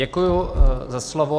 Děkuji za slovo.